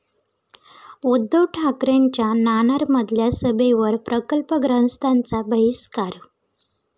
उद्धव ठाकरेंच्या नाणारमधल्या सभेवर प्रकल्पग्रस्तांचा बहिष्कार